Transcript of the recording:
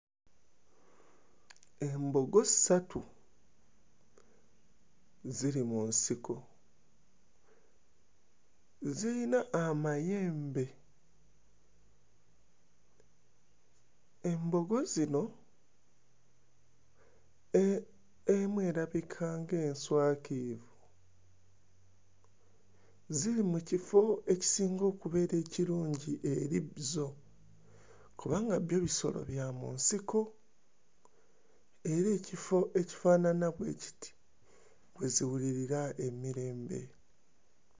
Embogo ssatu ziri mu nsiko, ziyina amayembe. Embogo zino e... emu erabika ng'enswakiivu. Ziri mu kifo ekisinga okubeera ekirungi eri zo kubanga byo bisolo bya mu nsiko era ekifo ekifaanana bwe kiti we ziwulirira emirembe.